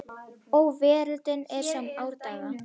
Og veröldin er sem í árdaga